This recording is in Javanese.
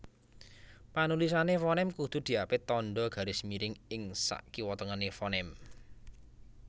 Panulisane fonem kudu diapit tandha garis miring ing sakiwatengene fonem